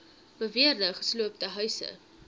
beweerde gesloopte huise